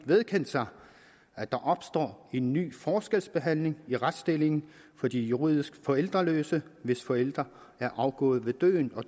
vedkendt sig at der opstår en ny forskelsbehandling i retsstillingen for de juridisk forældreløse hvis forældre er afgået ved døden og